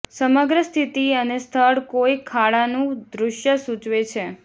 સમગ્ર સ્થિતિ અને સ્થળ કોઈ ખાડાનું દૃશ્ય સૂચવે છે